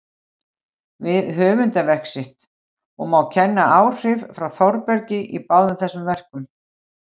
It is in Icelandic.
við höfundarverk sitt, og má kenna áhrif frá Þórbergi í báðum þessum verkum.